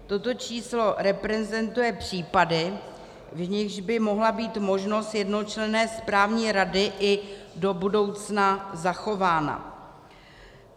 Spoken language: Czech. Toto číslo reprezentuje případy, v nichž by mohla být možnost jednočlenné správní rady i do budoucna zachována.